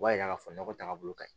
O b'a yira k'a fɔ nɔgɔ taagabolo ka ɲi